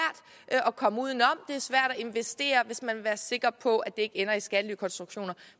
at komme uden om er svært at investere hvis man vil være sikker på at det ikke ender i skattelykonstruktioner